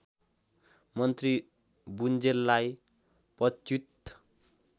मन्त्री बुल्जेलाई पदच्युत